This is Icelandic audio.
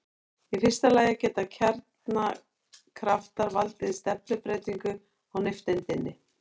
Í fyrsta lagi geta kjarnakraftar valdið stefnubreytingu á nifteindinni.